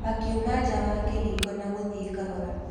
Akiuma nja wa kĩhingo na gũthiĩ kahora.